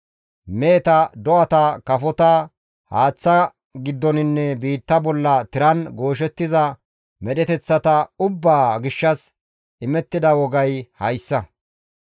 « ‹Meheta, do7ata, kafota, haaththa giddoninne biitta bolla tiran gooshettiza medheteththata ubbaa gishshas imettida wogay hayssa;